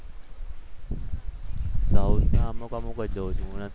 South ના અમુક અમુક જ જોઉં છું.